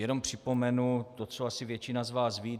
Jenom připomenu to, co asi většina z vás ví.